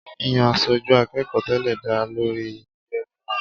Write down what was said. Yiyan aṣojú akẹ́kọ̀ọ́ tẹ́lẹ̀ dá lórí yíyẹ fún un.